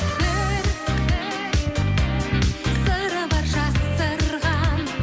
бір сыры бар жасырған